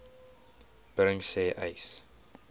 bring sê uys